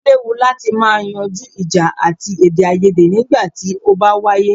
O léwu láti má yanjú ìjà àti èdèaiyèdè nígbà tí o bá wáyé.